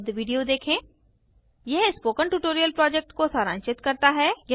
पर उपलब्ध वीडियो देखें यह स्पोकन ट्यूटोरियल प्रोजेक्ट को सारांशित करता है